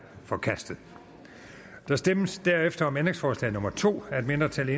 forkastet der stemmes derefter om ændringsforslag nummer to af et mindretal